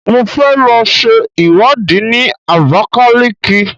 Mo fẹ́ lọ ṣe ìwádìí ní Abakaliki.